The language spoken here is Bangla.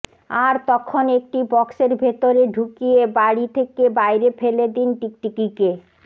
আর তখন একটি বক্সের ভেতরে ঢুকিয়ে বাড়ি থেকে বাইরে ফেলে দিন টিকটিকিকে